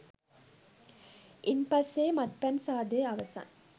ඉන්පස්සේ මත්පැන් සාදය අවසන්